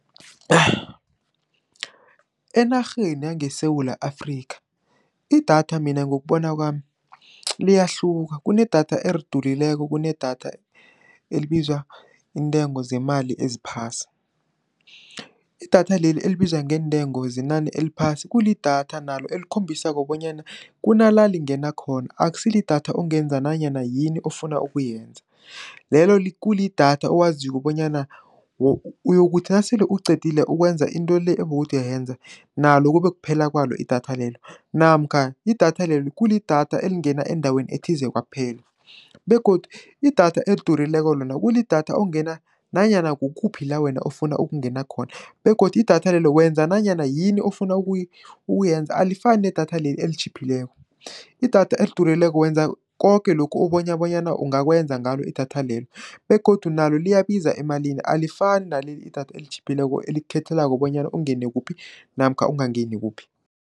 Enarheni yangeSewula Afrika, idatha mina ngokubona kwami liyahluka, kunedatha elidurileko, kunedatha elibizwa iintengo zemali eziphasi. Idatha leli, elibizwa ngeentengo zenani eliphasi kulidatha nalo, elikhombisako bonyana kunala lingena khona, akusi lidatha ongenza nanyana yini ofuna ukuyenza. Lelo kulidatha owaziko bonyana uyokuthi nasele uqedile ukwenza into le, obowuthi uyayenza nalo kubekuphela kwalo idatha lelo, namkha idatha lelo kulidatha elingena endaweni ethize kwaphela, begodu idatha elidurileko lona, kulidatha ongena nanyana kukuphi la wena ofuna ukungena khona, begodu idatha lelo wenza nanyana yini ofuna ukuyenza alifani nedatha leli elitjhiphileko. Idatha elidurileko wenza koke lokhu ubonya bonyana ungakwenza ngalo idatha lelo, begodu nalo liyabiza emalini alifani naleli idatha esitjhiphileko, elikukhethelako bonyana ungene kuphi, namkha ungangeni kuphi.